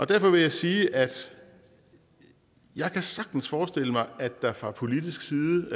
derfor vil jeg sige at jeg sagtens kan forestille mig at der fra politisk side